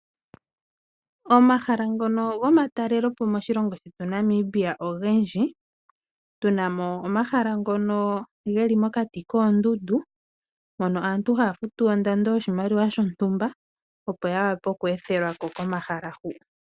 Omahala ngono gomatalele po moshilongo shetu Namibia ogendji, otuna mo omahala ngono geli mokati koondundu hono aantu haafutu ondando yoshimaliwa shontumba opo ya wape oku ethelwako komahala hoka.